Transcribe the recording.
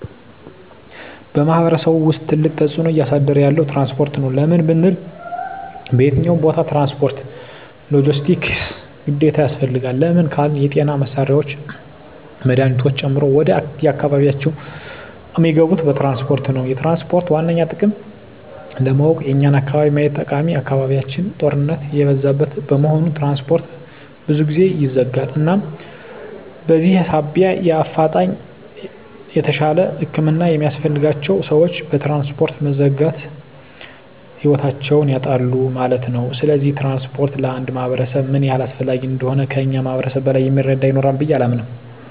በማሕበረሰቡ ውስጥ ትልቅ ተፅዕኖ እያሳደረ ያለዉ ትራንስፖርት ነዉ። ለምን ብንል በየትኛዉም ቦታ ትራንስፖርት(ሎጀስቲክስ) ግዴታ ያስፈልጋል። ለምን ካልን የጤና መሳሪያወች መድሀኒቶችን ጨምሮ ወደ አካባቢያችን እሚገቡት በትራንስፖርት ነዉ። የትራንስፖርትን ዋነኛ ጥቅም ለማወቅ የኛን አካባቢ ማየት ጠቃሚ አካባቢያችን ጦርነት የበዛበት በመሆኑ ትራንስፖርት ብዙ ጊዜ ይዘጋል እናም በዚህ ሳቢያ በአፋጣኝ የተሻለ ህክምና የሚያስፈልጋቸዉ ሰወች በትራንስፖርት መዘጋት ህይወታቸዉን ያጣሉ ማለት ነዉ። ስለዚህ ትራንስፖርት ለአንድ ማህበረሰብ ምን ያህል አስፈላጊ እንደሆነ ከእኛ ማህበረሰብ በላይ እሚረዳ ይኖራል ብየ አላምንም።